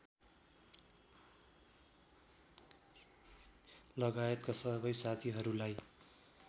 लगायतका सबै साथीहरूलाई